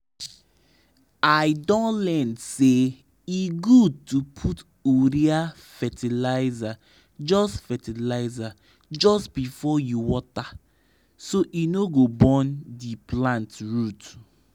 i don learn say e good to put urea fertilizer just fertilizer just before you water so e no go burn the plant root.